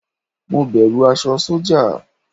Mo bẹ̀rù aṣọ sọ́jà.